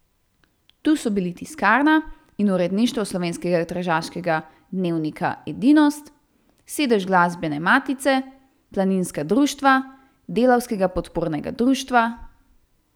Tu so bili tiskarna in uredništvo slovenskega tržaškega dnevnika Edinost, sedež Glasbene matice, Planinskega društva, Delavskega podpornega društva ...